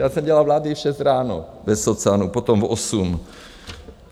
Já jsem dělal vlády v šest ráno bez socanů, potom v osm.